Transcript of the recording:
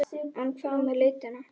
En hvað með litina?